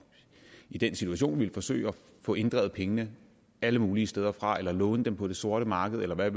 i den situation ville forsøge at få inddrevet pengene alle mulige steder fra eller låne dem på det sorte marked eller hvad